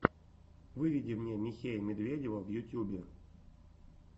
выведи мне михея медведева в ютюбе